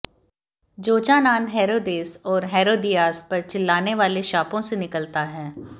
Jochanan Herodes और Herodias पर चिल्लाने वाले शापों से निकलता है